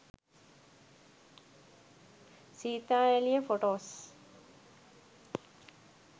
seetha eliya photos